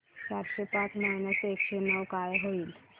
चारशे पाच मायनस एकशे नऊ काय होईल